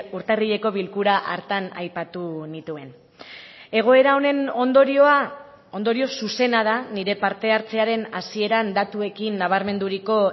urtarrileko bilkura hartan aipatu nituen egoera honen ondorioa ondorio zuzena da nire parte hartzearen hasieran datuekin nabarmenduriko